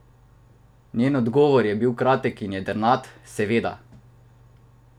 Njen odgovor je bil kratek in jedrnat: "Seveda.